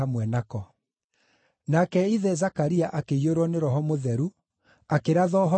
Nake ithe Zakaria akĩiyũrwo nĩ Roho Mũtheru, akĩratha ũhoro, akiuga atĩrĩ,